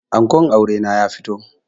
Ankon aure na ya fito